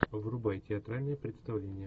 врубай театральное представление